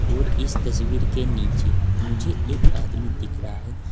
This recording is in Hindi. और इस तस्वीर के नीचे मुझे एक आदमी दिख रहा है।